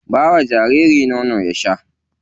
Ba wa jaririn nono ya sha.